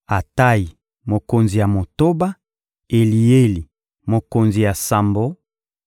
Atayi, mokonzi ya motoba; Elieli, mokonzi ya sambo;